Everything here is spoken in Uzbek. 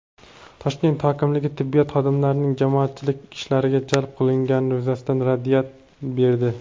Toshkent hokimligi tibbiyot xodimlarining jamoatchilik ishlariga jalb qilingani yuzasidan raddiya berdi.